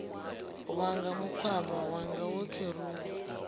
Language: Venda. wanga mukhwama wanga wo kheruwa